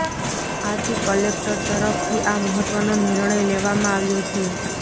આથી કલેક્ટર તરફથી આ મહત્ત્વનો નિર્ણય લેવામાં આવ્યો છે